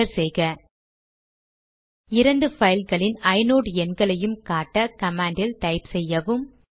enter செய்க இரண்டு பைல்களின் ஐநோட் எண்களையும் காட்ட கமாண்ட் டைப் செய்யவும்